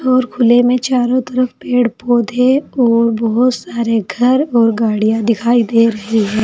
और खुले में चारों तरफ पेड़ पौधे और बहुत सारे घर और गाड़ियां दिखाई दे रही है।